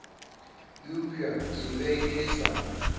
eupša ke be ke sa